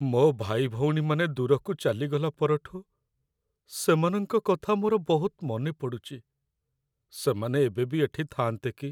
ମୋ' ଭାଇଭଉଣୀମାନେ ଦୂରକୁ ଚାଲିଗଲା ପରଠୁ, ସେମାନଙ୍କ କଥା ମୋର ବହୁତ ମନେପଡ଼ୁଚି । ସେମାନେ ଏବେବି ଏଠି ଥାଆନ୍ତେ କି!